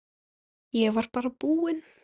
Ég var bara búinn.